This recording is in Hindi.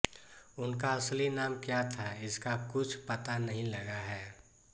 उनका असली नाम क्या था इसका कुछ पता नहीं लगा है